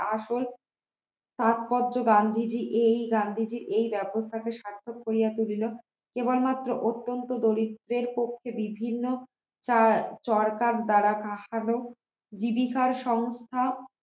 গান্ধীজী এই গান্ধীজী এই ব্যবস্থাকে সার্থক করিয়া তুলিল কেবলমাত্র অত্যন্ত দরিদ্রের পক্ষে বিভিন্ন চর চরকার দ্বারা কাশালো জীবিকা সংস্থা